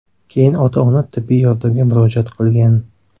Keyin ota-ona tibbiy yordamga murojaat qilgan.